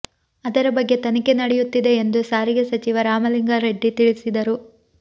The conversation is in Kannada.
ಅದರ ಬಗ್ಗೆ ತನಿಖೆ ನಡೆಯುತ್ತಿದೆ ಎಂದು ಸಾರಿಗೆ ಸಚಿವ ರಾಮಲಿಂಗಾರೆಡ್ಡಿ ತಿಳಿಸಿದರು